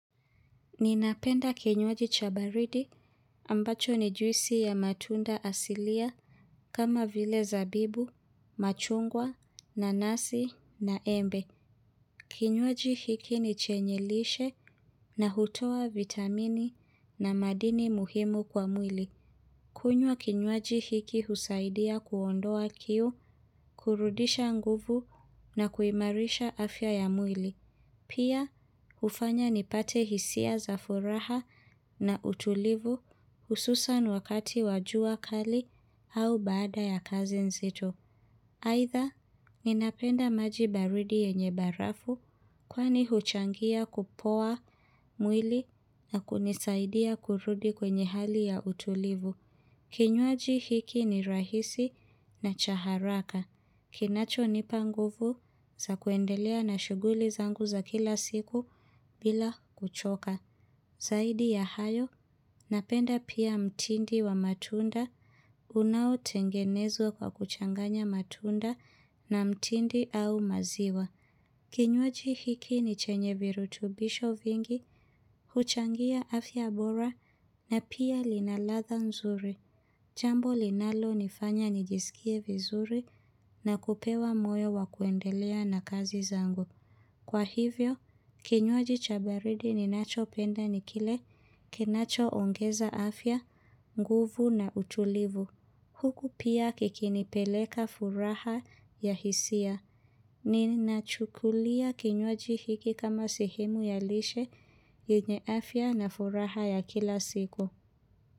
Ninapenda kinywaji chabaridi ambacho ni juisi ya matunda asilia kama vile zabibu, machungwa, nanasi, na embe. Kinywaji hiki ni chenyelishe na hutowa vitamini na madini muhimu kwa mwili. Kunywa kinywaji hiki husaidia kuondoa kiu, kurudisha nguvu na kuimarisha afya ya mwili. Pia, hufanya nipate hisia za furaha na utulivu hususan wakati wajua kali au baada ya kazi nzito. Aidha, ninapenda maji baridi yenye barafu kwani huchangia kupoa mwili na kunisaidia kurudi kwenye hali ya utulivu. Kinywaji hiki ni rahisi na chaharaka. Kinacho ni panguvu za kuendelea na shughuli zangu za kila siku bila kuchoka. Zaidi ya hayo, napenda pia mtindi wa matunda. Unao tengenezwa kwa kuchanganya matunda na mtindi au maziwa. Kinywaji hiki ni chenye virutubisho vingi, huchangia afya bora na pia linaladha nzuri. Jambo linalo nifanya nijisikie vizuri na kupewa moyo wa kuendelea na kazi zangu. Kwa hivyo, kinywaji chabaridi ni nacho penda nikile, kinacho ongeza afya, nguvu na utulivu. Huku pia kikinipeleka furaha ya hisia, nini na chukulia kinywaji hiki kama sehemu ya lishe yenye afya na furaha ya kila siku.